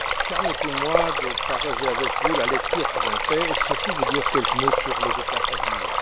Permettez moi de partager avec vous la lecture que j'en fais et, surtout, de vous dire quelques mots sur les étapes à venir.